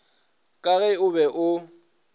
ka ge o be o